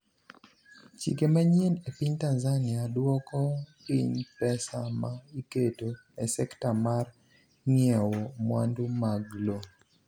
Chike manyien e piny Tanzania dwoko piny pesa ma iketo e sekta mar ng’iewo mwandu mag lo.